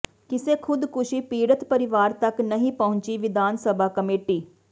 ਕਿਸੇ ਖ਼ੁਦਕੁਸ਼ੀ ਪੀੜਤ ਪਰਿਵਾਰ ਤਕ ਨਹੀਂ ਪਹੁੰਚੀ ਵਿਧਾਨ ਸਭਾ ਕਮੇਟੀ